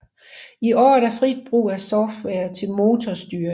I år er der frit brug af software til motorstyring